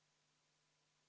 … ja olete seetõttu maha jäänud.